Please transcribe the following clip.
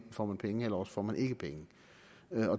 får man penge eller også får man ikke penge